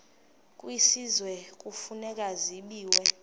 kwisizwe kufuneka zabiwe